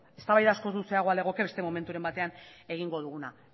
eztabaida askoz luzeagoa legoke beste momenturen batean egingo duguna